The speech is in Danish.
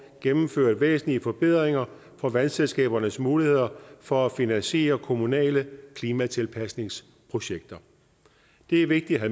gennemført væsentlige forbedringer af vandselskabernes muligheder for at finansiere kommunale klimatilpasningsprojekter det er vigtigt at